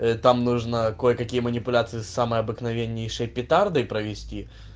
там нужно кое какие манипуляции самые обыкновейнишние петардой провести